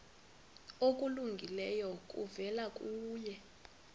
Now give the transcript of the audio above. okulungileyo kuvela kuye